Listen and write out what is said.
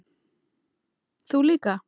Þú líka?